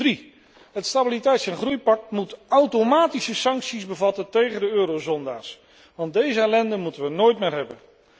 Ten derde, het stabiliteits en groeipact moet automatische sancties bevatten tegen de eurozondaars want deze ellende moeten we nooit meer hebben.